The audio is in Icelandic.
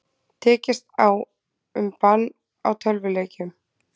Tekist á um bann á tölvuleikjum